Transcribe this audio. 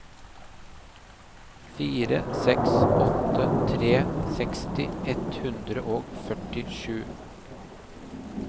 fire seks åtte tre seksti ett hundre og førtisju